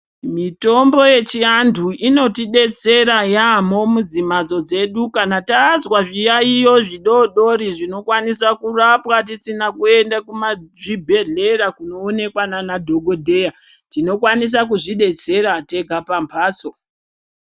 Mitombo yechiandu inotidetsera yamho k mudzimbatso dzedu kana tazwa zviyayiyo zvidodori zvinokwanisa kurapwa tisina kuenda kuzvibhedhlera kjnoonekwa nana dhogodheya tinokwanisa kudzidetsera tega pambatso.